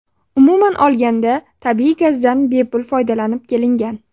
Umuman olganda, tabiiy gazdan bepul foydalanib kelingan.